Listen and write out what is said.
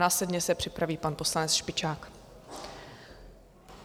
Následně se připraví pan poslanec Špičák.